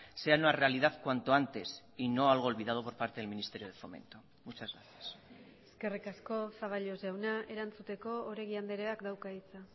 sea una realidad cuanto antes y no algo olvidado por parte del ministerio de fomento muchas gracias eskerrik asko zaballos jauna erantzuteko oregi andreak dauka hitza